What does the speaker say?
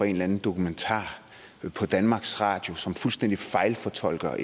en eller anden dokumentar på danmarks radio som fuldstændig fejlfortolker